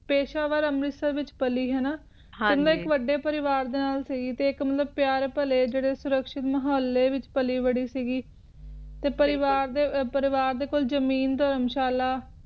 ਪੇਸ਼ਾਵਰ ਅੰਮ੍ਰਿਤਸਰ ਵਿਚ ਪੱਲੀ ਹੈ ਨਾ ਹਾਂਜੀ ਤੇ ਇਕ ਵੱਡੇ ਪਰਿਵਾਰ ਦੇ ਨਾਲ ਸੀ ਗਏ ਤੇ ਪਿਆਰ ਭੱਲੇ ਜੈਰੇ ਸੁਰਕਸ਼ਿਕ ਮਾਹੌਲ ਵਿਚ ਪੱਲੀ ਬੜੀ ਸੀ ਗਈ ਤੇ ਪਰਿਵਾਰ ਦੇ ਕੋਲ ਜ਼ਮੀਨ ਧਰਮ ਸ਼ਾਲਾ